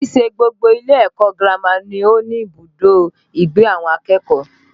Kìí ṣe gbogbo ilé ẹ̀kọ́ girama ni ó ní ibùdó ìgbé àwọn akẹ́kọ̀ọ́